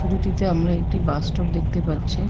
ছবিটিতে আমরা একটি বাস স্টপ দেখতে পাচ্ছি।